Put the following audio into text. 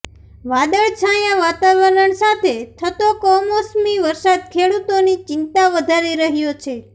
વાદળછાયા વાતાવરણ સાથે થતો કમોસમી વરસાદ ખેડૂતોની ચિંતા વધારી રહ્યો છે